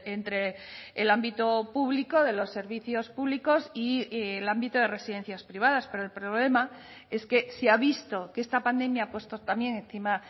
entre el ámbito público de los servicios públicos y el ámbito de residencias privadas pero el problema es que se ha visto que esta pandemia ha puesto también encima